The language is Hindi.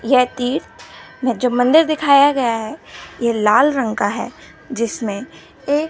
यह तीर्थ में जो मंदिर दिखाया गया है ये लाल रंग का है जिसमें एक--